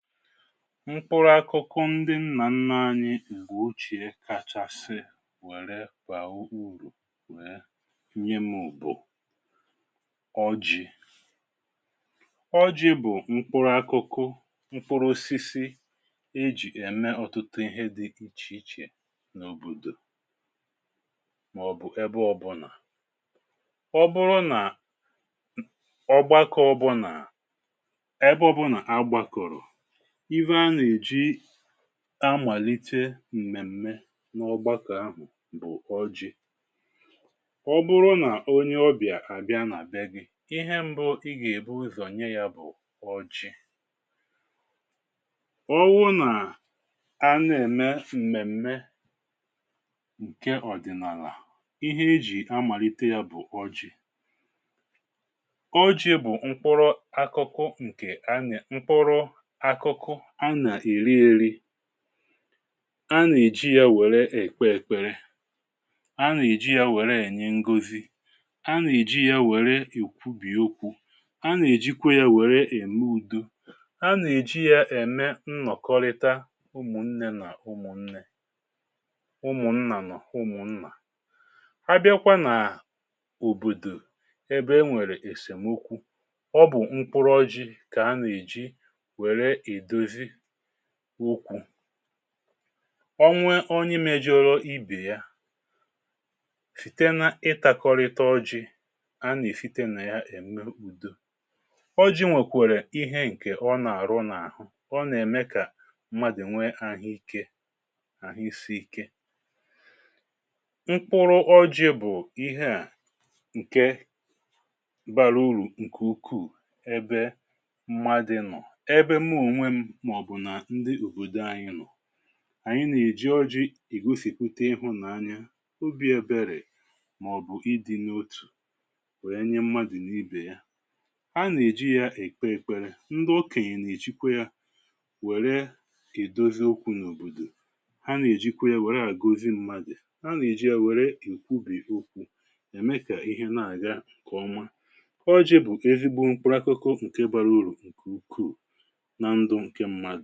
Mkpụrụakụkụ ndị m̀mà nna ȧnyị̇ ǹgwè ochè kachasị wère kwà urù nye m̀ụ̀bụ̀ ọjị̀. ọjị bụ̀ mkpụrụakụkụ mkpụrụosisi ijì ème ọ̀tụtụ ihe di ìchèichè n’òbòdò, màọ̀bụ̀ ebe ọ̇bụ̇nà. ọ bụrụ nà ọ gbakọ ọ bụ̇ nà, ebe ọ̇bụ̇nà agbakọ̀rọ̀, ịfe ana eji amàlite m̀mèm̀me n’ọgbakọ̀ ahụ bụ̀ ọjị̇, ọbụrụ nà onye ọbịà àbịa nà àbe gị̇, ihe mbụ i gà-èbuwezọ̀ nye yȧ bụ̀ ọjị. ọwụ nà a na-ème m̀mèm̀me ǹkè ọ̀dị̀nàlà ihe e jì amàlite yȧ bụ̀ ọjị. Ọjị bụ mkụrụakụkụ nke, mkpụrụakụkụ ana erị erị, anà-èji ya wère èkpe èkpere, anà-èji ya wère ènye ngọzi, anà-èji ya wère ìkwubìokwu, anà-èjikwa ya wère ème ùdo, anà-èji ya ème nnọ̀kọrịta ụmụ̀ nnė nà ụmụ̀ nnė, ụmụ̀ nnà nọ̀ ụmụ̀ nnà. À bịkwa nà òbòdò ebe e nwèrè èseṁ ukwu, ọ bụ̀ mkpụrọ ji kà anà-èji wèrè edọzị ukwù, ọnwe onye mėjė rụọ ibè ya, fìte na ịtȧkọ̀rịta ọjị, a nà-èfite nà ya ème ùdo. Ọjị nwèkwèrè ihe ǹkè ọ nà-àrụ n’àhụ, ọ nà-ème kà mmadụ nwee àhụikė àhụisi ike. Mkpụrụ ọjị bụ̀ ihe à ǹke mbara urù ǹkè ukwuù ebe mmadụ nọ̀, ebe m ònwe maọbụ na ndị ọbọdọ nọ, ànyị nà-èji ọjị ì gosìpute ịhụ̇ nà anya, obi̇ ya bịarị̀, màọ̀bụ̀ ịdị̇ n’otù nwère enye mmadụ̀ n’ibè ya. a nà-èji ya èkpe èkpere, ndụ okenye nà-èjikwa yȧ nwère kìdozi okwu̇ n’òbòdò, ha nà-èjikwa ya nwèrè àguzi mmadụ̀, ha nà-èji ya nwèrè èkwubì okwu̇ ème kà ihe na-àga ǹkèọma. ọjị̇ bụ̀ kà ezigbo mkpụrụ akụkọ ọkụ̀kè bara urù ǹkè ukwuù haà, nà-ènwèrè ihe o nwèrè ike onye ọ̀fọdụ̀.